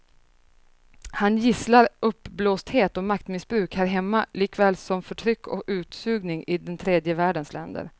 Han gisslar uppblåsthet och maktmissbruk här hemma likaväl som förtryck och utsugning i den tredje världens länder.